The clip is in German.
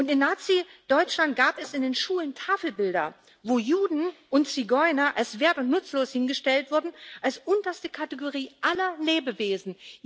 In Nazideutschland gab es in den Schulen Tafelbilder, wo Juden und Zigeuner als wert und nutzlos hingestellt wurden, als unterste Kategorie aller Lebewesen.